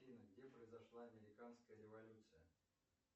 афина где произошла американская революция